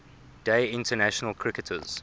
day international cricketers